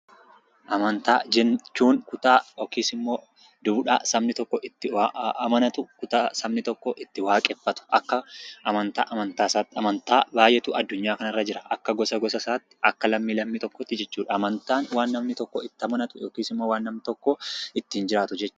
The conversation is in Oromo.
Amantaa jechuun kutaa yookiis immoo duudhaa sabni tokko itti amanatu kutaa sabni tokko itti waaqeffatuu akka Amantaa isatti. Amantaa baay'eetuu aadduunyaa kana irra jira. Akka gosa gosaa isatti akka lammi lammii tokkotti jechuudha. Amantaa wanta namni tokko itti amanatu yookiis immoo ittin jiraatudha.